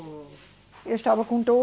Eu estava com